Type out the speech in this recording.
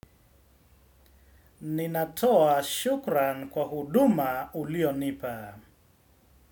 Ninatoa shukran kwa huduma uliyo nipa.